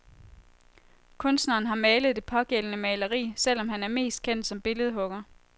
Kunstneren har malet det pågældende maleri, selv om han er mest kendt som billedhugger.